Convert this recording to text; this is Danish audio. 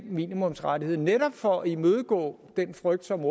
minimumsrettighed netop for at imødegå den frygt som